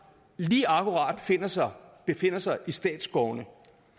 lige akkurat befinder sig befinder sig i statsskovene